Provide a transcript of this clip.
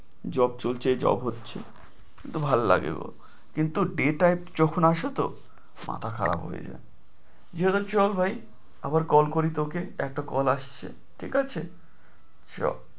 Job চলছে job হচ্ছে ভাল্লাগে গো কিন্তু day type যখন আসে তো মাথা খারাপ হয়ে যায়, চল ভাই আবার call করি তোকে একটা call আসছে ঠিক আছে চল।